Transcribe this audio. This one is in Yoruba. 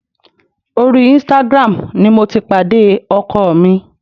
Orí Instagram ni mo ti pàdé ọkọ mi